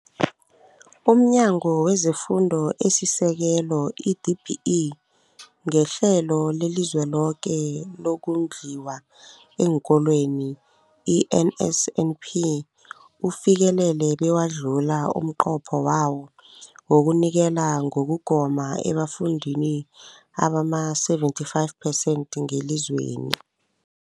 UmNyango wezeFundo esiSekelo, i-DBE, ngeHlelo leliZweloke lokoNdliwa eenKolweni, i-NSNP, ufikelele bewadlula umnqopho wawo wokunikela ngokugoma ebafundini abama-75 phesenthi ngelizweni.